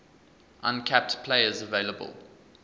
uncapped players available